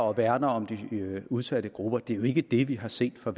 og værner om de udsatte grupper det er jo ikke det vi har set fra